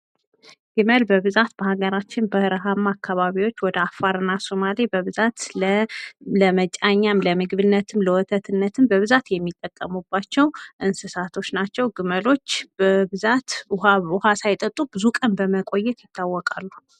ግመል በብዛት በሀገራችን በረሀማ አከባቢዎች ወደ አፋርና ሶማሌ በብዛት ለመጫኛም፣ ለምግብነትም፣ ለወተትነትም በብዛት የሚጠቀሙባቸው እንስሳቶች ናቸው። ግመሎች በብዛት ውሀ ሳይጠጡ ብዙ ቀን በመቆየት ይታወቃሉ።